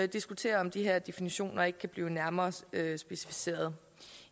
diskutere om de her definitioner ikke kan blive nærmere specificeret